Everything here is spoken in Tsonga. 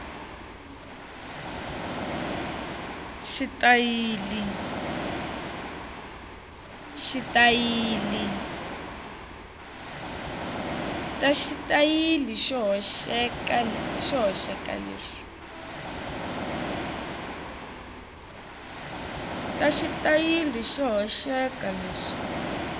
na xitayili xo hoxeka leswi